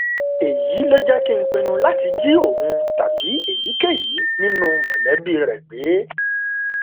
èyí ló jẹ kí n pinnu láti jí òun tàbí èyíkéyìí nínú mọlẹbí rẹ gbé